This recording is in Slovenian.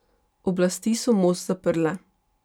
Oblasti so most zaprle.